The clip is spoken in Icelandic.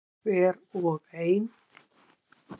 Hver og ein.